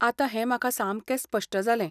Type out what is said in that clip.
आतां हें म्हाका सामकें स्पश्ट जालें.